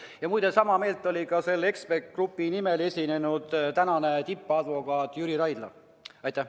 Ja muide, sama meelt oli ka selle eksperdigrupi nimel esinenud tänane tippadvokaat Jüri Raidla.